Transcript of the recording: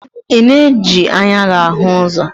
Ị na-eji anya gị ahụ ụzọ?